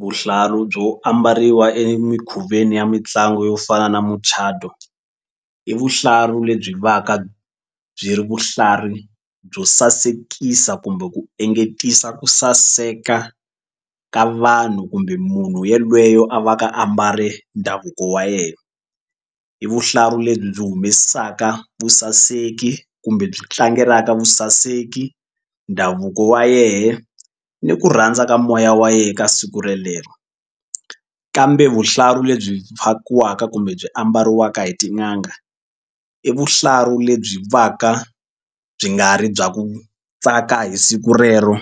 Vuhlalu byo ambariwa emikhuveni ya mitlangu yo fana na muchato i vuhlalu lebyi va ka byi ri vahlari byo sasekisa kumbe ku engetisa ku saseka ka vanhu kumbe munhu yelweyo a va ka a mbale ndhavuko wa yena i vuhlalu lebyi byi humesaka vusaseki kumbe byi tlangelaka vusaseki ndhavuko wa yena ni ku rhandza ka moya wa yena ka siku relero kambe vuhlalu lebyi fakiwaka kumbe byi ambariwaka hi tin'anga i vuhlalu lebyi va ka byi nga ri bya ku tsaka hi siku rero